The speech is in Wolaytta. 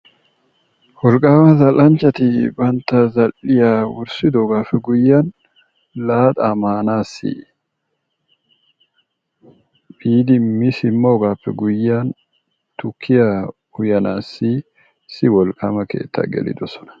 Wolqaama zal'anchchati banta zal'iya essidoogaape guyiyan laaxaa maanaassi biidi mi simoogaappe guyiyan tukkiya uyanaassi issi wolqaama keettaa gelidosona.